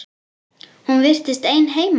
Hún virtist ein heima.